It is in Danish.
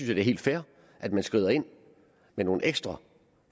det er helt fair at man skrider ind med nogle ekstra